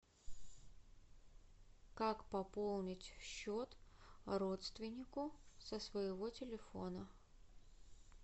как пополнить счет родственнику со своего телефона